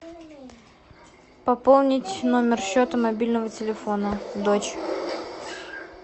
пополнить номер счета мобильного телефона дочь